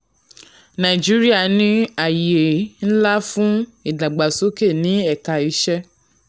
nàìjíríà ní ààyè ńlá fún ìdàgbàsókè ní ẹ̀ka iṣẹ́.